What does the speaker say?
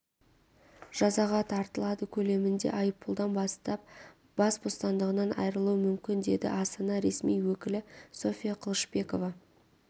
жазаға тартылады көлемінде айыппұлдан бастап бас бостандығынан айырылуы мүмкін деді астана ресми өкілі софья қылышбекова